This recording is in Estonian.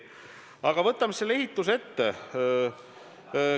Aga võtame siis selle ehituse ette.